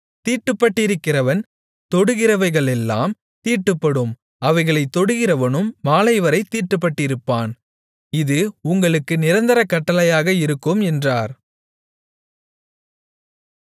தீட்டுப்பட்டிருக்கிறவன் தொடுகிறவைகளெல்லாம் தீட்டுப்படும் அவைகளைத் தொடுகிறவனும் மாலைவரைத் தீட்டுப்பட்டிருப்பான் இது உங்களுக்கு நிரந்தர கட்டளையாக இருக்கும் என்றார்